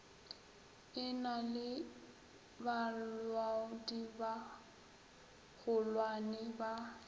e na le balaodibagolwane ba